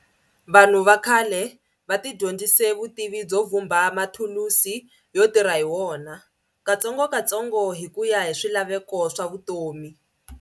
Vanhu vakhale vatidyondzise Vutivi byovumba mathulusi yo tirha hiwona, katsongokatsongo hikuya hi swilaveko swavutomi.